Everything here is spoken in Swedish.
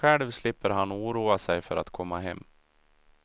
Själv slipper han oroa sig för att komma hem.